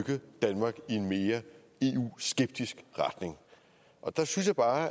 danmark i en mere eu skeptisk retning og der synes jeg bare at